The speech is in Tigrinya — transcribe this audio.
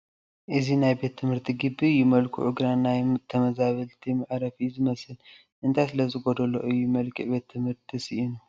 እዚ ናይ ቤት ትምህርቲ ግቢ እዩ፡፡ መልክዑ ግን ናይ ተመዛበልቲ መዕረፊ እዩ ዝመስል፡፡ እንታይ ስለዝጐዶሎ እዩ መልክዕ ቤት ትምህርትነት ስኢኑ?